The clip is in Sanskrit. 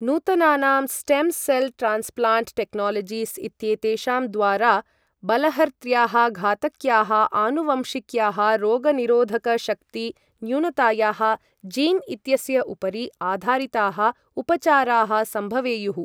नूतनानां स्टेम् सेल् ट्रान्स्प्लाण्ट् टेक्नालजीस् इत्येतेषां द्वारा बलहर्त्र्याः घातक्याः आनुवंशिक्याः रोगनिरोधकशक्तिन्यूनतायाः जीन् इत्यस्य उपरि आधारिताः उपचाराः सम्भवेयुः।